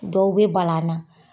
Dɔw bɛ bala an na.